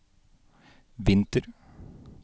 vinter